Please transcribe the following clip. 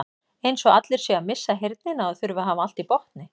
Eins og allir séu að missa heyrnina og þurfi að hafa allt í botni.